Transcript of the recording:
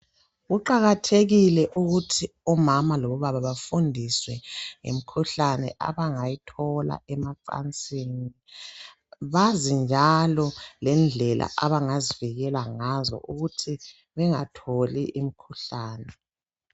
Kuqakathekile ukuthi omama labobaba bafundiswe ngemikhuhlane, abangayithola emacansini .Bazi njalo lendlela abangazivikela ngazo ukuthi bengatholi imikhuhlani.